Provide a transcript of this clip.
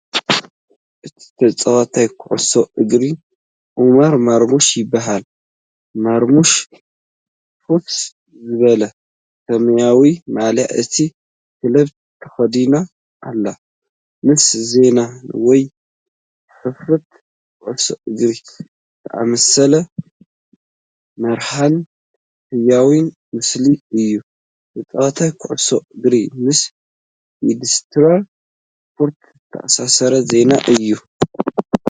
እቲ ተጻዋታይ ኩዕሶ እግሪ ዑመር ማርሙሽ ይበሃል። ማርሙሽ ፍኹስ ዝበለ ሰማያዊ ማልያ እታ ክለብ ተኸዲና ኣላ። ምስ ዜና ወይ ጽሑፋት ኩዕሶ እግሪ ዝተኣሳሰር መሃርን ህያውን ምስሊ እዩ። ተጻዋታይ ኩዕሶ እግሪን ምስ ኢንዱስትሪ ስፖርት ዝተኣሳሰር ዜናን እዩ።